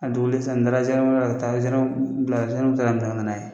A dogolen sisan n taara zandarameri la , ka taa zandaramu bila , zandaramu taara minɛ ka nana ye.